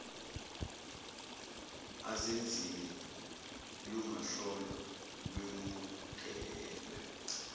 azenzile lungahlolwa lwemukelwe